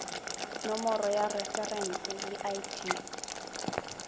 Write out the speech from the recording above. nomoro ya referense le id